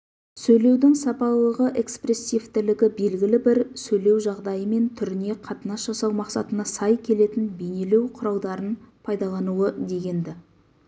сөйлеудің сапалылығы экспрессивтілігі белгілі бір сөйлеу жағдайы мен түріне қатынас жасау мақсатына сай келетін бейнелеу құралдарын пайдалануы дегенді